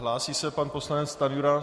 Hlásí se pan poslanec Stanjura.